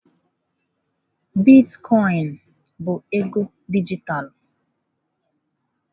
Bitkọin bụ ego dijitalụ.